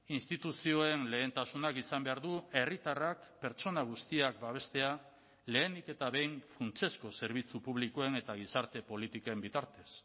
instituzioen lehentasunak izan behar du herritarrak pertsona guztiak babestea lehenik eta behin funtsezko zerbitzu publikoen eta gizarte politiken bitartez